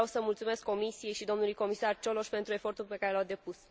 Vreau să mulțumesc Comisiei și domnului Comisar Cioloș pentru efortul pe care l au depus.